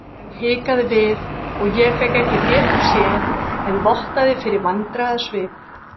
Ekkjan hikaði við og ég fékk ekki betur séð en vottaði fyrir vandræðasvip.